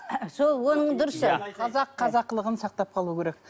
сол оның дұрысы қазақ қазақылығын сақтап қалу керек